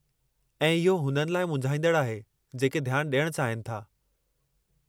ऐं इहो हुननि लाइ मुंझाईंदड़ु आहे जेके ध्यानु ॾियणु चाहिनि था।